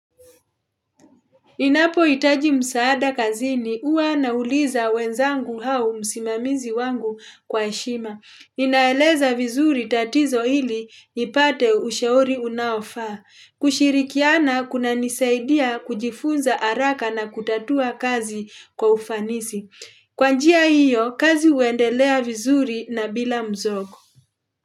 Ninapoitaji msaada kazini uwa nauliza wenzangu hau msimamizi wangu kwa heshima. Inaeleza vizuri tatizo ili ipate ushauri unaofaa. Kushirikiana kunanisaidia kujifunza araka na kutatua kazi kwa ufanisi. Kwa njia hiyo, kazi huendelea vizuri na bila mzogo.